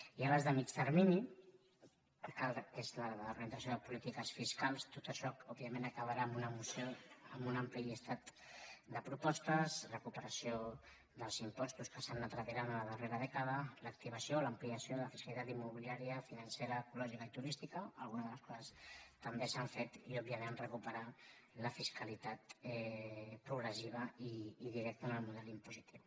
hi ha les de mitjà termini que són la de la reorientació de polítiques fiscals tot això òbviament acabarà en una moció amb un ampli llistat de propostes recupe·ració dels impostos que s’han anat retirant a la darrera dècada l’activació o l’ampliació de la fiscalitat immo·biliària financera ecològica i turística algunes de les quals també s’han fet i òbviament recuperar la fisca·litat progressiva i directa en el model impositiu